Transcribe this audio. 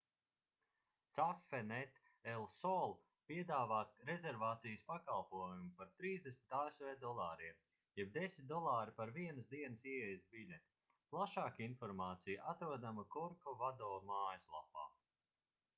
cafenet el sol piedāvā rezervācijas pakalpojumu par 30 asv dolāriem jeb 10 dolāri par vienas dienas ieejas biļeti plašāka informācija atrodama korkovado mājaslapā